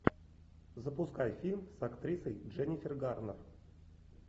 запускай фильм с актрисой дженнифер гарнер